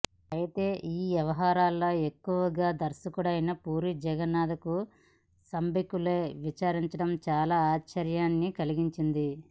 అయితే ఈ వ్యవహారంలో ఎక్కువగా దర్శకుడైన పూరి జగన్నాథ్ కు సంబంధీకులనే విచారించడం చాలా ఆశ్చర్యాన్ని కలిగించింది